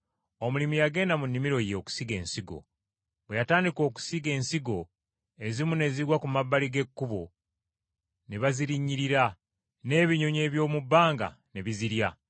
“Omulimi yagenda mu nnimiro ye okusiga ensigo. Bwe yatandika okusiga ensigo, ezimu ne zigwa ku mabbali g’ekkubo ne bazirinnyirira, n’ebinyonyi eby’omu bbanga ne bizirya.